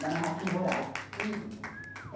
Da narrativa oral hum.